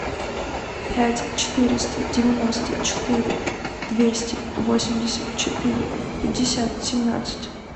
пять четыреста девяносто четыре двести восемьдесят четыре пятьдесят семнадцать